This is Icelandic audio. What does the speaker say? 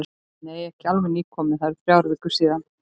Nei, ekki alveg nýkominn, það eru þrjár vikur síðan.